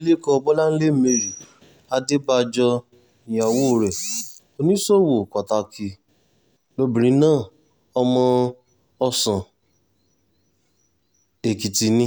abilékọ bọ́láńlé mary adébájọ íyàwó rẹ̀ oníṣòwò pàtàkì lobìnrin náà ọmọ ọ̀sán-èkìtì ni